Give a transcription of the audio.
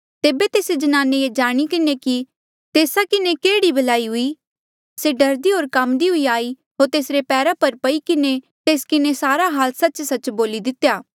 तेबे तेस्से ज्नाने ये जाणी किन्हें कि तेस्सा किन्हें केह्ड़ी भलाई हुई से डरदी होर काम्दी हुई आई होर तेसरे पैरा पर पई किन्हें तेस किन्हें सारा हाल सच्चसच्च बोली दितेया